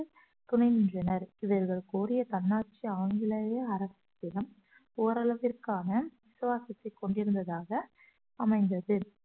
துணை நின்றனர் இவர்கள் கோரிய தன்னாட்சி ஆங்கிலேயே அரசிடம் ஓரளவிற்கான விசுவாசித்தை கொண்டிருந்ததாக அமைந்தது